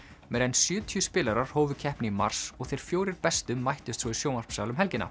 meira en sjötíu spilarar hófu keppni í mars og þeir fjórir bestu mættust svo í sjónvarpssal um helgina